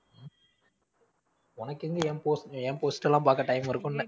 உனக்கெங்க என் post என் post எல்லாம் பாரக்க time இருக்கும்னேன்.